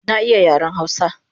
Na iya yaren hausa